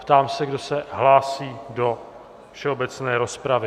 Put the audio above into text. Ptám se, kdo se hlásí do všeobecné rozpravy.